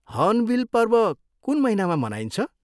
Hornbill पर्व कुन महिनामा मनाइन्छ?